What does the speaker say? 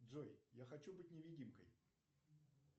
джой я хочу быть невидимкой